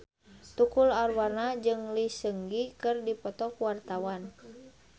Tukul Arwana jeung Lee Seung Gi keur dipoto ku wartawan